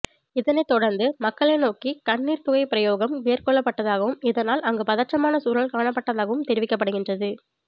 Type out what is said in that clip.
இதனைத்தொடர்ந்து மக்களை நோக்கி கண்ணீர்ப்புகைப்பிரயோகம் மேற்கொள்ளப்பட்டதாகவும் இதனால் அங்கு பதற்றமான சூழல் காணப்பட்டதாகவும் தெரிவிக்கப்படுகின்றது